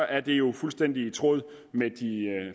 er det jo fuldstændig i tråd med de